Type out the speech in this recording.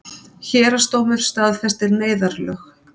Héraðsdómur staðfestir neyðarlög